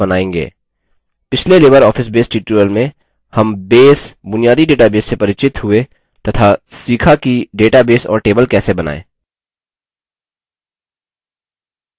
पिछले libreoffice base tutorial में हम base बुनियादी database से परिचित हुए तथा सीखा कि database और table कैसे बनायें